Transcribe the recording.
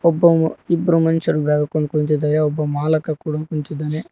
ಒಬ್ಬವ ಇಬ್ರು ಮನುಷ್ಯರು ಬ್ಯಾಗ್ ಹಾಕೊಂಡು ಕುಳಿತಿದ್ದಾರೆ ಒಬ್ಬ ಮಾಲಕ ಕೂಡ ಕುಂತಿದ್ದಾನೆ.